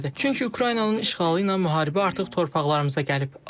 Çünki Ukraynanın işğalı ilə müharibə artıq torpaqlarımıza gəlib.